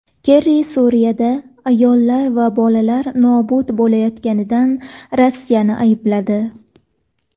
Kerri Suriyada ayollar va bolalar nobud bo‘layotganida Rossiyani aybladi.